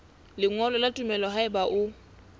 lengolo la tumello haeba o